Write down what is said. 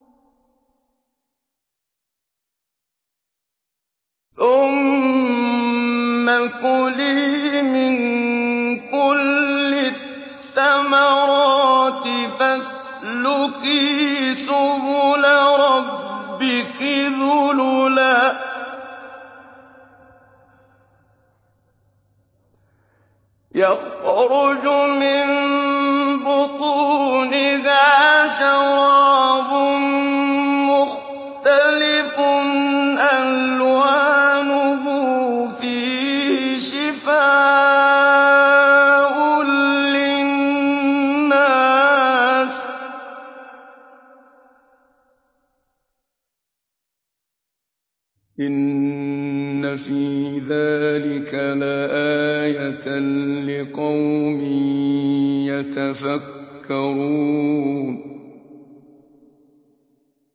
ثُمَّ كُلِي مِن كُلِّ الثَّمَرَاتِ فَاسْلُكِي سُبُلَ رَبِّكِ ذُلُلًا ۚ يَخْرُجُ مِن بُطُونِهَا شَرَابٌ مُّخْتَلِفٌ أَلْوَانُهُ فِيهِ شِفَاءٌ لِّلنَّاسِ ۗ إِنَّ فِي ذَٰلِكَ لَآيَةً لِّقَوْمٍ يَتَفَكَّرُونَ